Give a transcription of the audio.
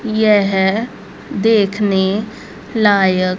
यह देखने लायक --